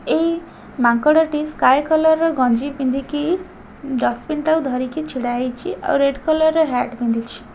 ଏଇ ମାଙ୍କଡ ଟି ସ୍କାଏ କଲର୍ ର ଗଞ୍ଜି ପିନ୍ଧିକି ଡସପିନ୍ ଟାକୁ ଧରିକି ଛିଡା ହେଇଚି ଆଉ ରେଡ୍ କଲର୍ ର ହେଟ୍ ପିନ୍ଧିଚି।